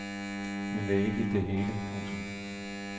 Men det er ikke det hele. punktum